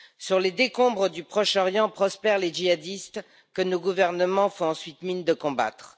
Sur les décombres du Proche Orient prospèrent les djihadistes que nos gouvernements font ensuite mine de combattre.